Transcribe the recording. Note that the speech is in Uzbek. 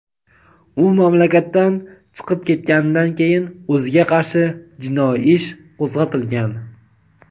u mamlakatdan chiqib ketganidan keyin o‘ziga qarshi jinoiy ish qo‘zg‘atilgan.